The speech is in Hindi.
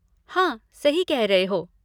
हाँ, सही कह रहे हो।